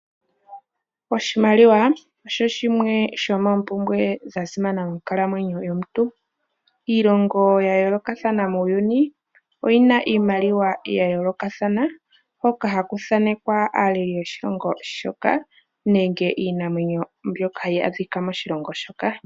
Oshimaliwa osho shimwe shomoompumbwe dhasimana mokunkalamwenyo komuntu. Iilongo yayoolokathana muuyuni oyina iimaliwa yayoolokathana, hoka haku thaanekwa aaleli yoshilongo shoka nenge iinamwenyo mbyoka hayi adhika moshilongo moka.